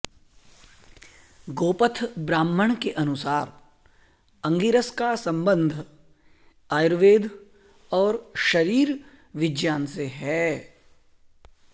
गोपथ ब्राह्मण के अनुसार अंगिरस का सम्बन्ध आयुर्वेद और शरीर विज्ञान से है